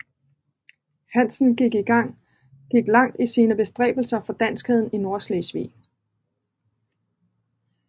Hanssen gik langt i sine bestræbelser for danskheden i Nordslesvig